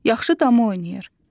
Yaxşı dama oynayır.